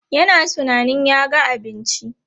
Yana tunanin ya ga abinci.